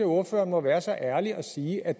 ordføreren må være så ærlig og sige at